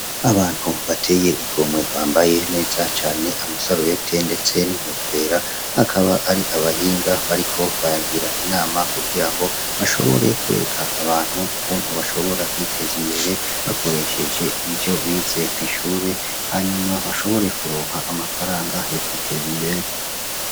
Abantu bateye igomwe bambaye neza cane amasarubete ndetse n'inkofera akaba ari abahinga bariko baragira inama kugira bashobore kwereka ukuntu bashobora kwiteza imbere bakoresheje ivyo bize kw'ishure hanyuma bashobore kuronka amafaranga yo kwiteza imbere .